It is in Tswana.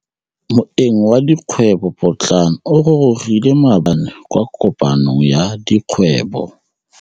Moêng wa dikgwêbô pôtlana o gorogile maabane kwa kopanong ya dikgwêbô.